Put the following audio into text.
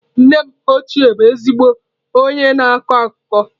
Nne m ochie bụ ezigbo onye na-akọ akụkọ.